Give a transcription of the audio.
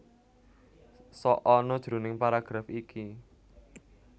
Sok ana jroning paragraf iki